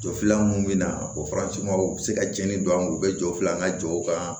Jɔ fila mun bɛ na o u bɛ se ka cɛnni don an kun u bɛ jɔ fila an ka jɔw kan